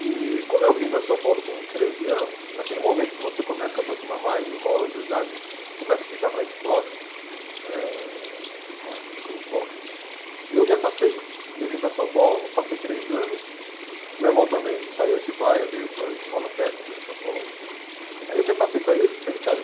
E como eu vim para São Paulo com treze anos, naquele momento que você começa a se aproximar mais, do irmão, as idades começam a ficar mais próximas, eh parte intelectual, eu me afastei, porque eu vim para São Paulo, passei três anos, meu irmão também saiu de Atibaia, veio para a escola técnica em São Paulo, aí eu me afastei, saí saí de casa.